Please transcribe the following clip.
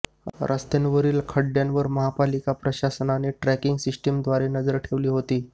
रस्त्यांवरील खड्डय़ांवर महापालिका प्रशासनाने ट्रॅकिंग सिस्टीमद्वारे नजर ठेवली होती